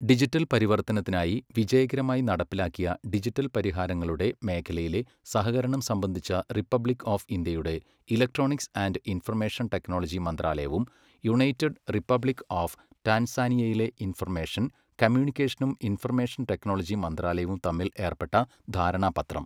Digital പരിവർത്തനത്തിനായി വിജയകരമായി നടപ്പിലാക്കിയ ഡിജിറ്റൽ പരിഹാരങ്ങളുടെ മേഖലയിലെ സഹകരണം സംബന്ധിച്ച റിപ്പബ്ലിക് ഓഫ് ഇന്ത്യയുടെ ഇലക്ട്രോണിക്സ് ആൻഡ് ഇൻഫർമേഷൻ ടെക്നോളജി മന്ത്രാലയവും യുണൈറ്റഡ് റിപ്പബ്ലിക് ഓഫ് ടാൻസാനിയയിലെ ഇൻഫർമേഷൻ, കമ്മ്യൂണിക്കേഷനും ഇൻഫർമേഷൻ ടെക്നോളജി മന്ത്രാലയവും തമ്മിൽ ഏർപ്പെട്ട ധാരണാപത്രം.